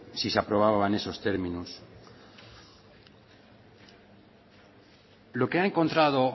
si se aprobaba en esos términos lo que ha encontrado